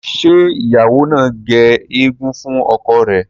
ṣe ìyàwó nà gé egun fún ọkọ rẹ?